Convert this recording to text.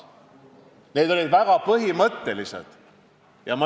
Need olid väga põhimõttelised initsiatiivid.